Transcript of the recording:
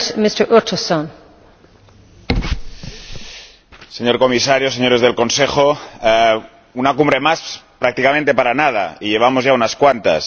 Señora Presidenta, señor comisario, señores del Consejo, una Cumbre más prácticamente para nada —y llevamos ya unas cuantas—.